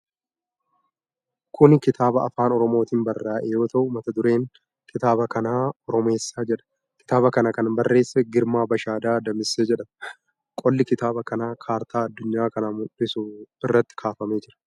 Kuni kitaaba Afaan Oromootin barraa'e yoo ta'u, mata dureen kitaaba kanaa "OROMEESSAA" jedha. Kitaaba kana kan barreesse Girmaa Bashaadaa Damisee jedhama. Qolli kitaaba kanaa kartaa addunyaa kana mul'isu irratti kaafamee jira.